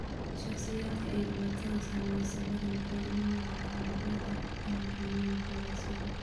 Shakhsiyaadka ay dhibaatadu saameysey badankoodu uma nugula caabuqyada ay keenaan fayrasyadu.